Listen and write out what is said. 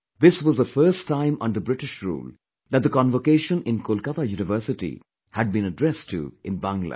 This was the first time under British rule that the convocation in Kolkata University had been addressed to in Bangla